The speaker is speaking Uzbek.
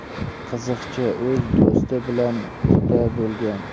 Qiziqchi o‘z do‘sti bilan quda bo‘lgan.